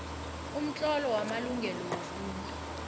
umtlolo wamalungelo wobuntu